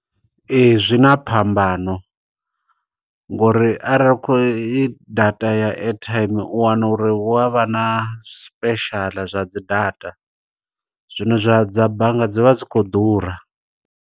Ee, zwi na phambano ngo uri arali u khou i data ya airtime, u wana uri hu avha na special zwa dzi data. Zwino zwa dza bannga dzi vha dzi khou ḓura.